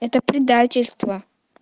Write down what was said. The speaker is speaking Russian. это предательство